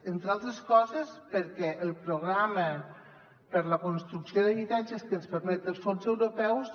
entre altres coses perquè el programa per a la construcció d’habitatges que ens permeten els fons europeus